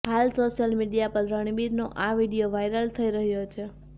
હાલ social media પર રણબીરનો આ વિડિયો વાયરલ થઇ રહ્યો છે